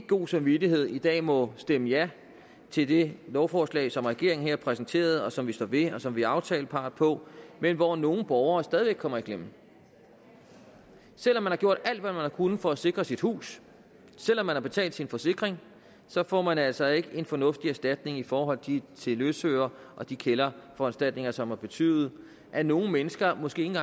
god samvittighed i dag må stemme ja til det lovforslag som regeringen her præsenterede og som vi står ved og som vi er aftalepart på men hvor nogle borgere stadig væk kommer i klemme selv om man har gjort alt hvad man har kunnet for at sikre sit hus selv om man har betalt sin forsikring får man altså ikke en fornuftig erstatning i forhold til løsøre og de kælderforanstaltninger som har betydet at nogle mennesker måske ikke